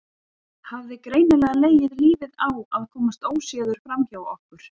Hafði greinilega legið lífið á að komast óséður framhjá okkur.